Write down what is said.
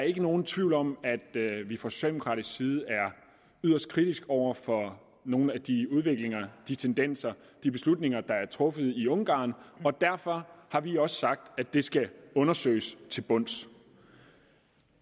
ikke er nogen tvivl om at vi fra socialdemokratisk side er yderst kritiske over for nogle af de udviklinger de tendenser og de beslutninger der er truffet i ungarn derfor har vi også sagt at det skal undersøges til bunds